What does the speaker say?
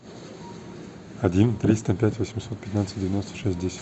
один триста пять восемьсот пятнадцать девяносто шесть десять